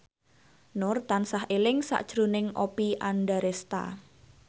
Nur tansah eling sakjroning Oppie Andaresta